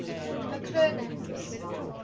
mcclernand's